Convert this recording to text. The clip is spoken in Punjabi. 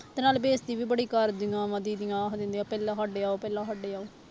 ਤੇ ਨਾਲੇ ਬੇਇਜਤੀ ਵੀ ਬੜੀ ਕਰਦੀਆਂ ਵਾਂ ਦੀਦੀ ਆਖ ਦਿੰਦੀਆਂ ਪਹਿਲਾਂ ਸਾਡੇ ਆਓ ਪਹਿਲਾਂ ਸਾਡੇ ਆਓ